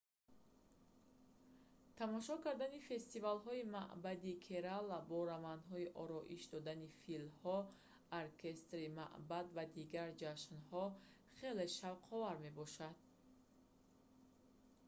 тамошо кардани фестивалҳои маъбадии керала бо равандҳои ороиш додани филҳо оркестри маъбад ва дигар ҷашнҳо хеле шавқовар мебошад